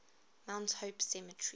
mount hope cemetery